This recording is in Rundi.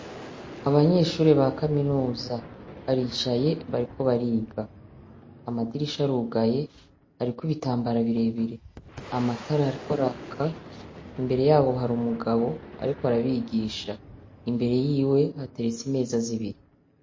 Abanyeshure ba kaminuza baricaye bariko bariga. Amadirisha arugaye hariko ibitambara bire bire. Amatara ariko araka. Imbere yabo hari umugabo ariko arabigisha. Imbere yiwe hateretse imeza zibiri.